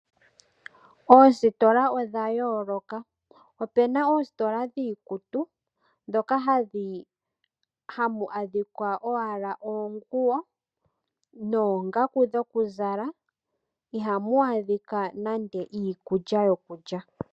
Oositola odha yooloka. Opu na oositola dhiikutu ndhoka hamu adhika owala oonguwo noongaku dhokuzala, ihamu adhika nande iikulya yokulya.